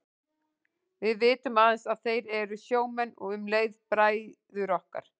Við vitum aðeins að þeir eru sjómenn og um leið bræður okkar.